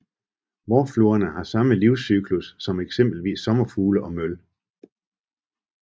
Vårfluerne har samme livscyklus som eksempelvis sommerfugle og møl